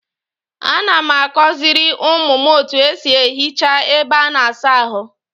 A na m akoziri umu m etu esi ehicha ebe a na-asa ahu.